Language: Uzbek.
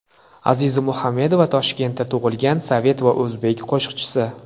Aziza Muhamedova Toshkentda tug‘ilgan sovet va o‘zbek qo‘shiqchisi.